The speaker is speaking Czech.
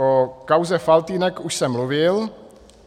O kauze Faltýnek už jsem mluvil.